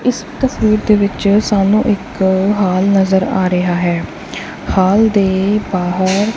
ਇਸ ਤਸਵੀਰ ਦੇ ਵਿੱਚ ਸਾਨੂੰ ਇੱਕ ਹਾਲ ਨਜ਼ਰ ਆ ਰਿਹਾ ਹੈ ਹਾਲ ਦੇ ਬਾਹਰ--